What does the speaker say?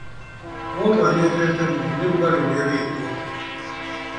Mũndũ anyotete mũno nĩ rũgarĩ ũria wĩ kuo